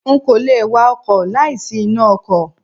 N kò le wa ọkọ̀ láì sí iná ọkọ̀.